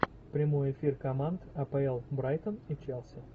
прямой эфир команд апл брайтон и челси